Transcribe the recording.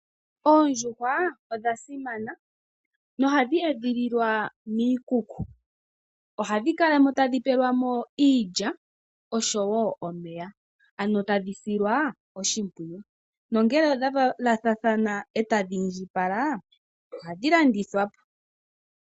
Oondjuhwa odha simana nohadhi edhililwa miikuku. Ohadhi kala mo tadhi pelwa mo iilya oshowo omeya ano tadhi silwa oshimpwiyu. Nongele odha valathana etadhi indjipala ohadhi landithwa po.